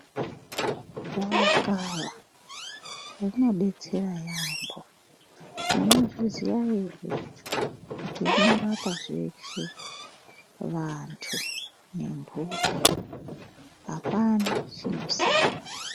Gavakava rinodetsera yambo munozviziya here kuti rinorapa zveshe vantu pamwe nemhuka hapana chinosara.